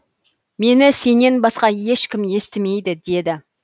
мені сенен басқа ешкім естімейді деді